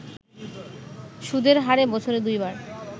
সুদের হারে বছরে দুইবার